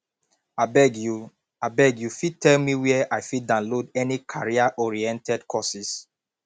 abeg you abeg you fit tell me where i fit download any careeroriented courses